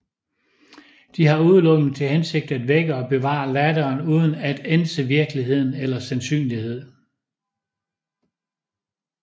De har udelukkende til hensigt at vække og bevare latteren uden at ænse virkelighed eller sandsynlighed